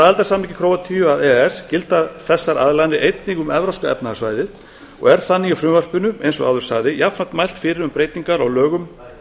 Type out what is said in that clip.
aðildarsamningi króatíu að e e s gilda þessar aðlaganir einnig um evrópska efnahagssvæðið og er þannig í frumvarpinu eins og áður sagði jafnframt mælt fyrir um breytingar á lögum